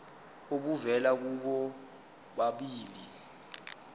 obuvela kubo bobabili